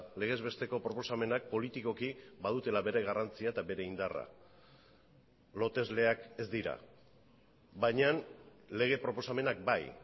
legez besteko proposamenak politikoki badutela bere garrantzia eta bere indarra lotesleak ez dira baina lege proposamenak bai